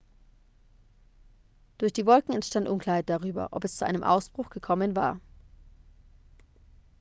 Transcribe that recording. durch die wolken enstand unklarheit darüber ob es zu einem ausbruch gekommen war